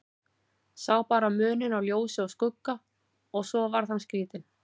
Sá bara muninn á ljósi og skugga og svo varð hann skrítinn.